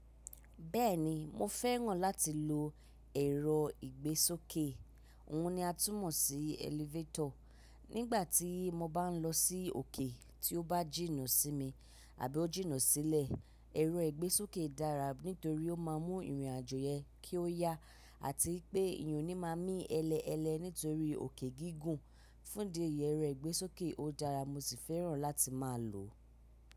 Bẹ́ẹ̀ni mo fẹ́ràn láti lo ẹ̀rọ ìgbésókè, òhun ni a tún mọ̀ sí elevator. Nígbà tí mo bá n lọ sí òkè tí ó bá jìnnà sí mi àbí ó jìnnà sílẹ̀, ẹ̀rọ ìgbésókè dára nítorí ó má a mú ìrìnàjò yẹn kí ó yá àti wipé eyan o ní máa mí ẹlẹ́ ẹlẹ́ nítorí òkè gígùn. Fún idi yẹ ẹ̀rọ ìgbésókè ó dára mo sì fẹ́ràn láti máa lòó.